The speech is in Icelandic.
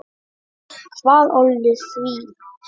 Hvað olli því?